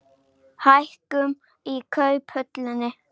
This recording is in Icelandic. Hækkun í Kauphöllinni